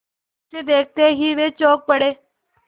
उसे देखते ही वे चौंक पड़े